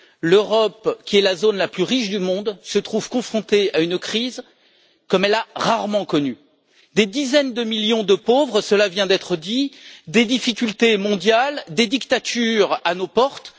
L'Europe, qui est la zone la plus riche du monde, se trouve confrontée à une crise comme elle en a rarement connue des dizaines de millions de pauvres cela vient d'être dit des difficultés mondiales, des dictatures à nos portes.